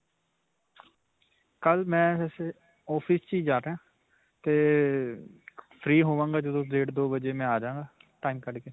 ਕਲ੍ਹ ਮੈਂ ਵੈਸੇ office 'ਚ ਹੀ ਜਾਣਾ. 'ਤੇ free ਹੋਵਾਂਗਾ ਜਦੋਂ, ਡੇਢ ਦੋ ਵਜੇ ਮੈਂ ਆ ਜਾਵਾਂਗਾ time ਕੱਡਕੇ.